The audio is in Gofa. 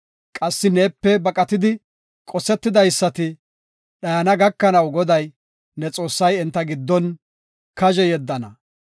Qassi neepe baqatidi qosetidaysati dhayana gakanaw Goday, ne Xoossay enta giddon kazhe yeddana.